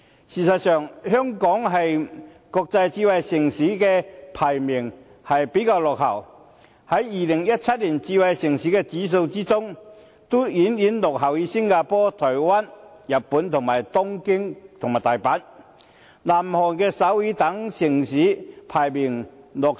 事實上，香港在國際智慧城市的排名比較落後，在2017年智慧城市指數中排名第六十八位，遠遠落後於新加坡、台灣、日本東京與大阪、南韓首爾等城市。